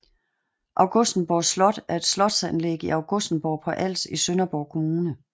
Augustenborg Slot er et slotsanlæg i Augustenborg på Als i Sønderborg Kommune